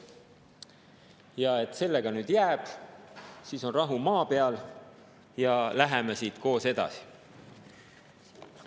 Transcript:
Kinnitatakse, et sellega see nii jääb, et siis on rahu maa peal ja lähme siit koos edasi.